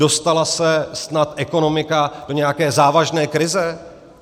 Dostala se snad ekonomika do nějaké závažné krize?